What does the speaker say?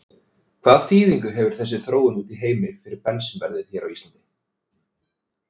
Hvaða þýðingu hefur þessi þróun úti í heimi fyrir bensínverðið hér á landi?